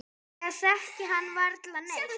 Ég þekki hann varla neitt.